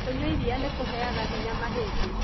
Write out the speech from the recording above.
kũnyua iria nĩkũheaga hinya mahindĩ